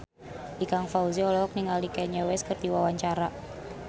Ikang Fawzi olohok ningali Kanye West keur diwawancara